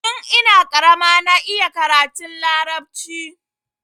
Tun ina karama na iya karatun larabci.